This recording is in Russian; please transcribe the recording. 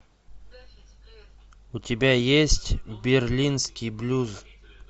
у тебя есть берлинский блюз